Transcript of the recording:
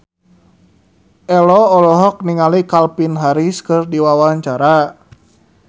Ello olohok ningali Calvin Harris keur diwawancara